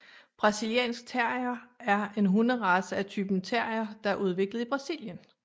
Brasiliansk Terrier er en hunderace af typen terrier der er udviklet i Brasilien